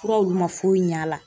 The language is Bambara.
Furaw olu ma foyi ɲa a la.